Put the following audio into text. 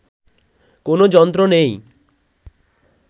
কোনো যন্ত্র নেই